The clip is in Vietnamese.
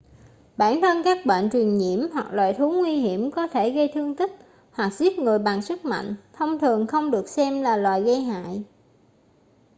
bản thân các bệnh truyền nhiễm hoặc loài thú nguy hiểm có thể gây thương tích hoặc giết người bằng sức mạnh thông thường không được xem là loài gây hại